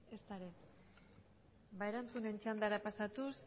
ezta ere ba erantzunen txandara pasatuz